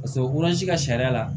Paseke ka sariya la